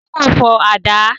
Táyọ̀ fọ àdá